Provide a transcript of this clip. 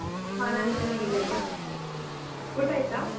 ಹ. ನಾನ್ ಚೆನ್ನಾಗಿದ್ದೇನೆ. ಊಟ ಆಯ್ತಾ?